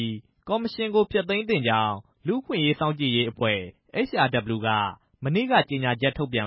းကော်မရှင်ကို ဖျက်သိမ်းသင့်ကြောင်း လူ့အခွင့်အရေးစောင့်ကြည့်ရေးအဖွဲ့ HRW က မနေ့က ကြေညာချက်ထုတ်ပြန်